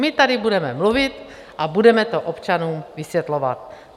My tady budeme mluvit a budeme to občanům vysvětlovat.